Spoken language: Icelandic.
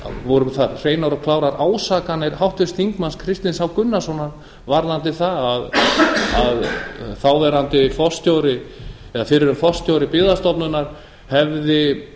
voru þar hreinar og klárar ásakanir háttvirtur þingmaður kristins h gunnarssonar varðandi það að fyrrum forstjóri byggðastofnunar hefði